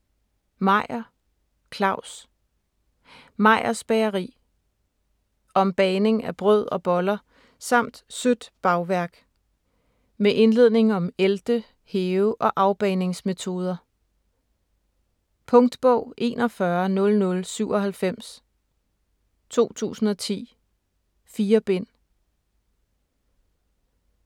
Meyer, Claus: Meyers bageri Om bagning af brød og boller, samt sødt bagværk. Med indledning om ælte-, hæve- og afbagningsmetoder. Punktbog 410097 2010. 4 bind.